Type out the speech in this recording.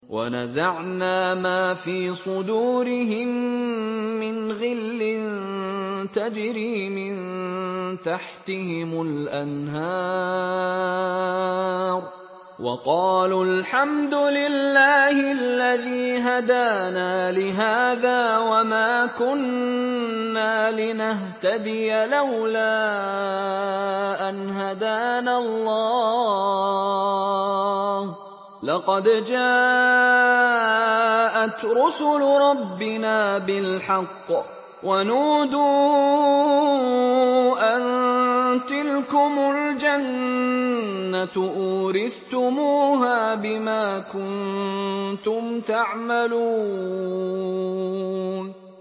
وَنَزَعْنَا مَا فِي صُدُورِهِم مِّنْ غِلٍّ تَجْرِي مِن تَحْتِهِمُ الْأَنْهَارُ ۖ وَقَالُوا الْحَمْدُ لِلَّهِ الَّذِي هَدَانَا لِهَٰذَا وَمَا كُنَّا لِنَهْتَدِيَ لَوْلَا أَنْ هَدَانَا اللَّهُ ۖ لَقَدْ جَاءَتْ رُسُلُ رَبِّنَا بِالْحَقِّ ۖ وَنُودُوا أَن تِلْكُمُ الْجَنَّةُ أُورِثْتُمُوهَا بِمَا كُنتُمْ تَعْمَلُونَ